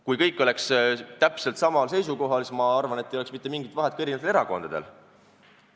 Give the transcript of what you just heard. Kui kõik oleks täpselt samal seisukohal, siis ma arvan, et ei oleks mitte mingit vahet ka erinevatel erakondadel.